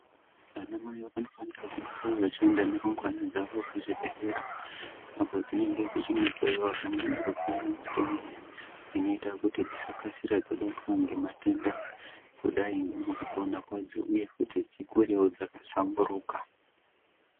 Ana mai vanofanira kugara vachienda nerumbwana dzavo kuzvibhedhlera apo dzinenge dzechindohloyiwa pamwe nekupiwe mitombo inoita kuti dzisakasire dzabatwa ngematenda kudai ngemukupona kwadzo uye futi dzikurewo dzakahlamburuka.